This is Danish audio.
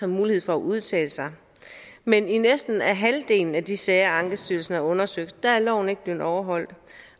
mulighed for at udtale sig men i næsten halvdelen af de sager ankestyrelsen har undersøgt er loven ikke blevet overholdt